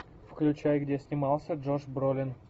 включай где снимался джош бролин